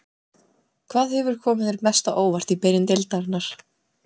Hvað hefur komið þér mest á óvart í byrjun deildarinnar?